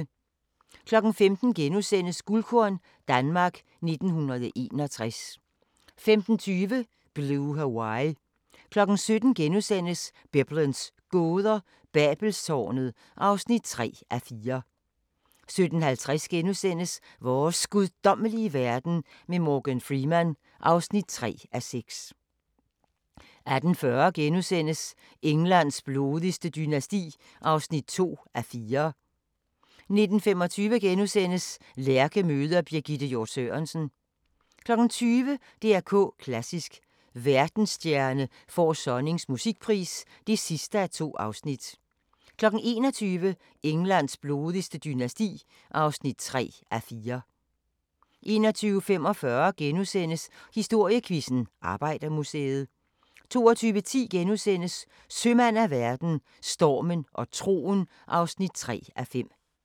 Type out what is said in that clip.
15:00: Guldkorn - Danmark 1961 * 15:20: Blue Hawaii 17:00: Biblens gåder – Babelstårnet (3:4)* 17:50: Vores guddommelige verden med Morgan Freeman (3:6)* 18:40: Englands blodigste dynasti (2:4)* 19:25: Lærke møder Birgitte Hjort Sørensen * 20:00: DR K Klassisk: Verdensstjerne får Sonnings musikpris (2:2) 21:00: Englands blodigste dynasti (3:4) 21:45: Historiequizzen: Arbejdermuseet * 22:10: Sømand af verden – Stormen og troen (3:5)*